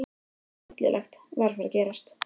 Eitthvað hryllilegt var að fara að gerast.